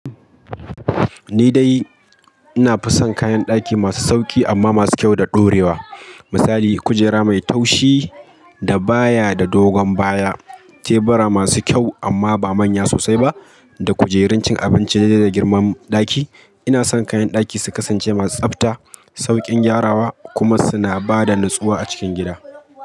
Ni dai ina fison kayan ɗaki masu sauƙi amma masu kyau da ɗorewa. Misali, kujera mai taushi da baya da dogon baya, tebura masu kyau amma ba manya sosai ba, da kujerun cin abinci daidai da girman ɗaki. Ina son kayan ɗaki su kasance masu tsabta, sauƙin gyarawa kuma suna ba da nutsuwa a cikin gida.